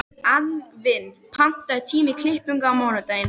Anfinn, pantaðu tíma í klippingu á mánudaginn.